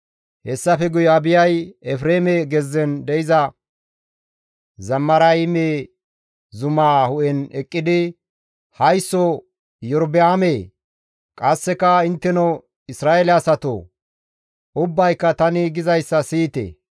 Hessafe guye Abiyay Efreeme gezzen de7iza Zamarayme zumaa hu7en eqqidi, «Haysso Iyorba7aamee! Qasseka Intteno Isra7eele asatoo! Ubbayka tani gizayssa siyite!